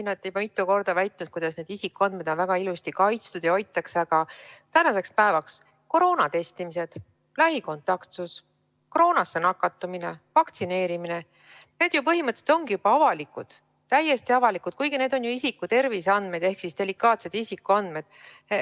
Te olete juba mitu korda väitnud, et need isikuandmed on väga ilusti kaitstud ja hoitud, aga tänaseks päevaks on koroonatestimised, lähikontaktsus, koroonasse nakatumine ja vaktsineerimine põhimõtteliselt juba avalikud, täiesti avalikud andmed, kuigi need on isiku terviseandmed ehk siis delikaatsed isikuandmed.